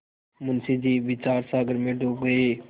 मुंशी जी विचारसागर में डूब गये